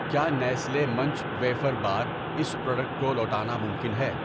کیا Nestle Munch wafer bar اس product کو لوٹانا ممکن ہے؟